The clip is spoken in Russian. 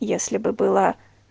если бы была